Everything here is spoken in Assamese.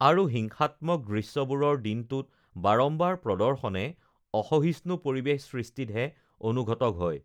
আৰু হিংসাত্মক দৃশ্যবোৰৰ দিনটোত বাৰাম্বাৰ প্ৰৰ্দশনে অসহিষ্ণু পৰিৱেশ সৃষ্টিতহে অনুঘটক হয়